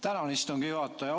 Tänan, istungi juhataja!